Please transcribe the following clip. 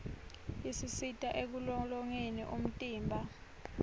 isisita ekulolongeni umtimba